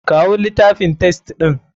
Kawo litafin test ɗin.